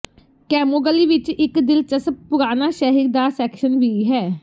Camogli ਵਿਚ ਇਕ ਦਿਲਚਸਪ ਪੁਰਾਣਾ ਸ਼ਹਿਰ ਦਾ ਸੈਕਸ਼ਨ ਵੀ ਹੈ